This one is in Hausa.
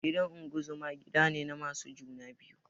Gidan unguzuma gidane na masu juna biyu